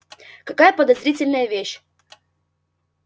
какая подозрительная вещь